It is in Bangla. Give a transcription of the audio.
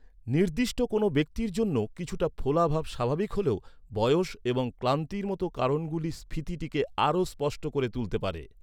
নির্দিষ্ট কোনও ব্যক্তির জন্য কিছুটা ফোলা ভাব স্বাভাবিক হলেও, বয়স এবং ক্লান্তির মতো কারণগুলি স্ফীতিটিকে আরও স্পষ্ট করে তুলতে পারে।